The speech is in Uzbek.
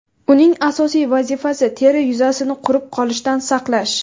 Uning asosiy vazifasi – teri yuzasini qurib qolishdan saqlash.